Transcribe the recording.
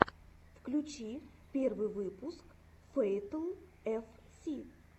включи первый выпуск фэйтл эф си